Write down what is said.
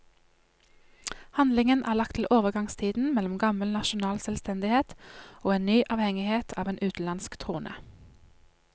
Handlingen er lagt til overgangstiden mellom gammel nasjonal selvstendighet og en ny avhengighet av en utenlandsk trone.